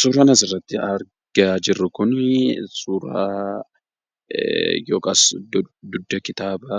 Suuraan asirratti argaa jirru kun suuraa yookaan dugda kitaaba